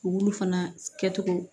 U b'olu fana kɛcogo